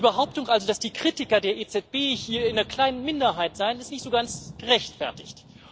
Die Behauptung also, dass die Kritiker der EZB hier in einer kleinen Minderheit seien, ist nicht so ganz gerechtfertigt.